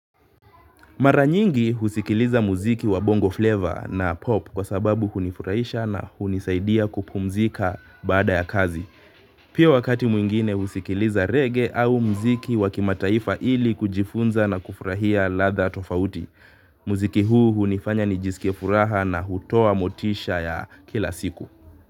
Mara nyingi husikiliza muziki wa bongo flavor na pop kwa sababu hunifurahisha na hunisaidia kupumzika baada ya kazi. Pia wakati mwingine husikiliza reggae au muziki wa kimataifa ili kujifunza na kufurahia ladha tofauti. Muziki huu hunifanya nijisikie furaha na hutoa motisha ya kila siku.